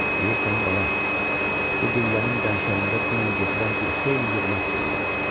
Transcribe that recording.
Bilirsən, bala, bu qüllənin qənşərində dünən gecədən bir xeyli yığınaq görürəm.